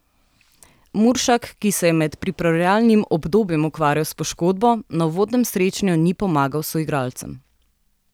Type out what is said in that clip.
Muršak, ki se je med pripravljalnim obdobjem ukvarjal s poškodbo, na uvodnem srečanju ni pomagal soigralcem.